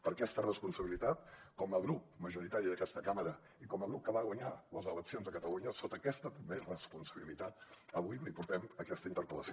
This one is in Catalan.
per aquesta responsabilitat com a grup majoritari d’aquesta cambra i com a grup que va guanyar les eleccions a catalunya sota aquesta més responsabilitat avui li portem aquesta interpel·lació